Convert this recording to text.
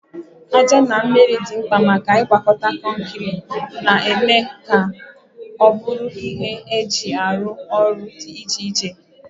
Aja na mmiri dị mkpa maka ịgwakọta kọnkịrị, na-eme ka ọ bụrụ ihe eji arụ ọrụ dị iche iche.